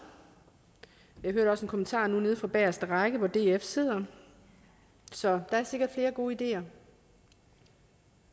jeg hørte også en kommentar nu nede fra bagerste række hvor df sidder så der er sikkert flere gode ideer